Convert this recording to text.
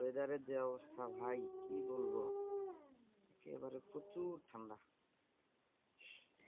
weather এর যে অবস্থা ভাই কি বলবো একেবারে প্রচুর ঠান্ডা।